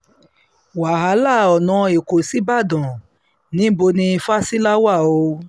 wàhálà ọ̀nà ẹ̀kọ́ ṣíbàdàn níbò ni fásilà wà o